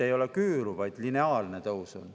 Ei ole küüru, vaid on lineaarne tõus.